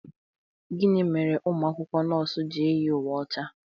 Gịnị mere ụmụ akwụkwọ nọọsụ ji eyi uwe ọcha?